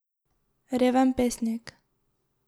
Reven pesnik.